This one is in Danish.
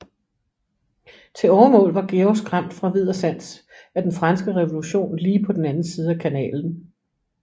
Til overmål var Georg skræmt fra vid og sans af den franske revolution lige på den anden side af kanalen